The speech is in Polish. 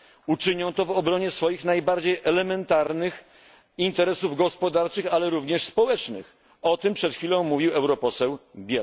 Uczynią to w obronie swoich najbardziej elementarnych interesów gospodarczych, a także społecznych o tym przed chwilą mówił poseł